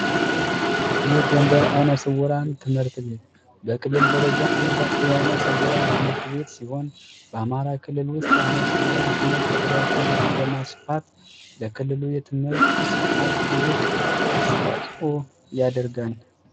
የጎንደር አይነ ስውራን ትምህርት ቤት በክልል ደረጃ አንጋፋ የአይነ ስውራን ትምህርት ቤት ሲሆን በአማራ ክልል ውስጥ የአይን ስውራን ትምህርትን በማስፋፋት ለክልሉ የትምህርት ስርዓት ትልቅ አስተዋጽኦ ያደርጋል።